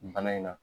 Bana in na